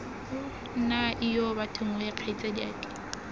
nna ijoo bathong wee kgaitsadiake